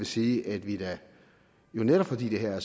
sige at vi da jo netop fordi det her er